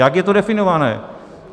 Jak je to definované?